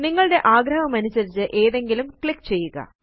നിങ്ങളുടെ ആഗ്രഹമനുസരിച്ച് ഏതിലെങ്കിലും ക്ലിക്ക് ചെയ്യുക